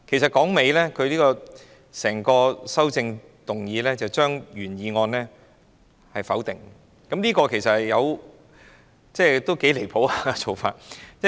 說到底，她的整項修正案是將原議案否定，這做法其實頗離譜。